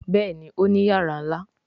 Béèni Òní iyàrá nlá.